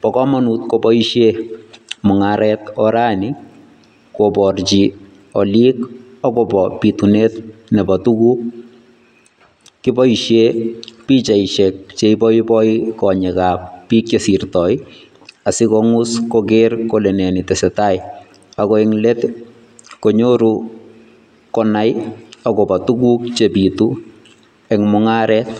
no komonut koboishe mung'aret orani koborchi oliik akobo bitunet nebo tukuk, kiboishen bichaishek cheiboiboi konyekab biik chesirtoi asikongus koker kole nee netesetai akoo en leet ii konyoru konai akobo tukuk chebitu en mung'aret.